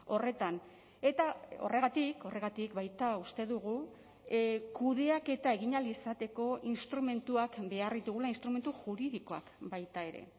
horretan eta horregatik horregatik baita uste dugu kudeaketa egin ahal izateko instrumentuak behar ditugula instrumentu juridikoak baita ere